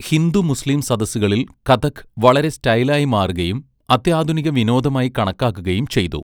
Hindu, Muslim സദസ്സുകളിൽ കഥക് വളരെ സ്റ്റൈലായി മാറുകയും അത്യാധുനിക വിനോദമായി കണക്കാക്കുകയും ചെയ്തു.